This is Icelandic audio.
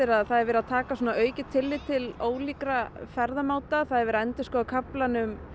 að það er verið að taka aukið tillit til ólíkra ferðamáta það er verið að endurskoða kaflann um